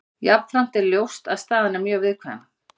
Jafnframt er ljóst að staðan er mjög viðkvæm.